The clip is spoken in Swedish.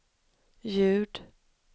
ljud